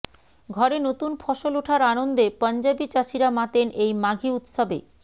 ঘরে নতুন ফসল ওঠার আনন্দে পঞ্জাবী চাষীরা মাতেন এই মাঘী উৎসবে